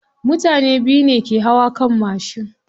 Mutane biyu ne ke hawa kan mashin.